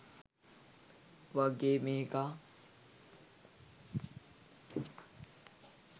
වගේ මේකා